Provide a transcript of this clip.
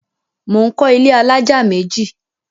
Mò ń kọ́ ilé alájà méjì.